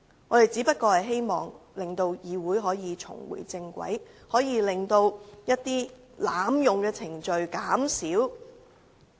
我們只是希望令議會重回正軌，盡量減少濫用程序的情況。